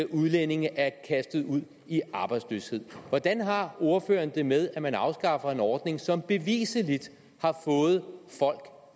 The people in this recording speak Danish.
udlændinge er kastet ud i arbejdsløshed hvordan har ordføreren det med at man afskaffer en ordning som bevisligt har fået folk